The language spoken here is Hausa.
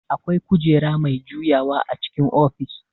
Akwai kujera mai juyawa a cikin ofis